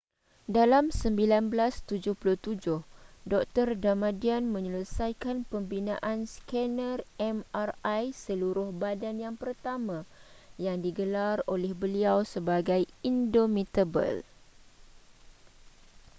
dalam 1977 dr damadian menyelesaikan pembinaan scanner mri seluruh badan yang pertama yang digelar oleh beliau sebagai indomitable